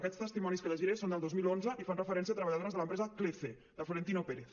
aquests testimonis que llegiré són del dos mil onze i fan referència a treballadores de l’empresa clece de florentino pérez